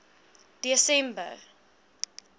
desember